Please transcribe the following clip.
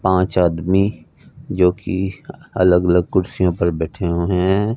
पांच आदमी जो कि अलग अलग कुर्सियों पर बैठे हुए हैं।